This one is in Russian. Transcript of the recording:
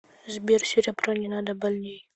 сбер серебро не надо больнее